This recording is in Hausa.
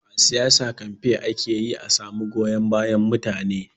A siyasa, kamfe ake yi a samu goyon bayan mutane.